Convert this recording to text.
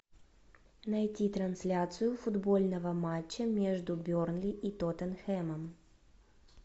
найти трансляцию футбольного матча между бернли и тоттенхэмом